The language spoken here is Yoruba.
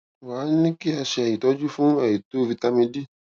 wá a ní kí a ṣe ìtọjú fún àìtó vitamin d